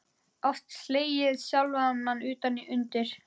Oft slegið sjálfan mig utan undir.